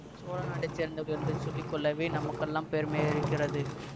சோழ நாட்டை சேர்ந்தவர்கள் என்று சொல்லி கொள்ளவே நமக்கெல்லாம் பெருமையிருக்கிறது